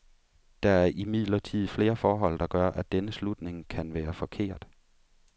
Der er imidlertid flere forhold der gør, at denne slutning kan være forkert.